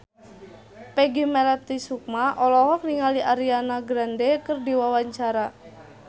Peggy Melati Sukma olohok ningali Ariana Grande keur diwawancara